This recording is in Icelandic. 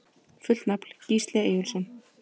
Fullt nafn: Gísli Eyjólfsson